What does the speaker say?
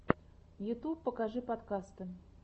ютюб покажи подкасты